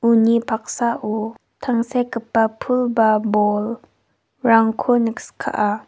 uni paksao tangsekgipa pul ba bolrangko nikskaa.